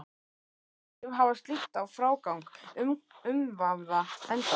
Hvaða áhrif hafði slíkt á frágang umvafða endans?